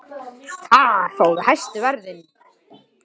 Þar fáum við hæstu verðin.